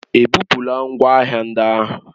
Ebupula ngwa ahịa ndị ahụ?